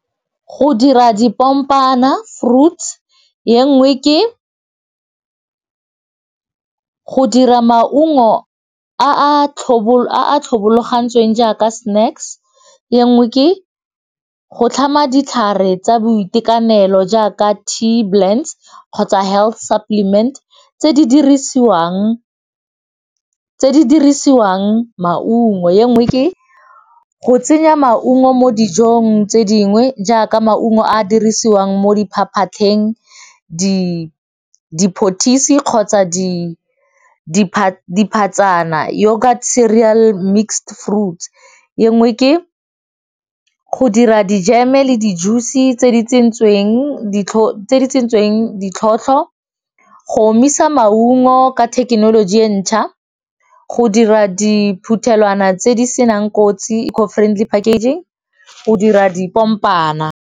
Go dira dipompana fruits e nngwe ke, go dira maungo a a tlhobologantsweng jaaka snack, e nngwe ke, go tlhama ditlhare tsa boitekanelo jaaka tea blends kgotsa health supplements tse di dirisiwang maungo, e nngwe ke, go tsenya maungo mo dijong tse dingwe jaaka maungo a dirisiwang mo di phaphatlheng di kgotsa diphatsana yoghurt cereal mixed fruits, e nngwe ke, go dira dijeme le di-juice tse di tsentsweng ditlhotlho, go omisa maungo ka thekenoloji e ntšha go dira diphuthelwana tse di senang kotsi for friendly packaging go dira di pompana.